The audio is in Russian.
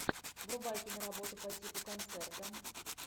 врубай киноработу по типу концерта